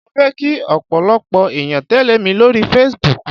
Mo fẹ́ kí ọ̀pọ̀lọpọ̀ ẹ̀yàn tẹ́lẹ̀ mi lórí Facebook.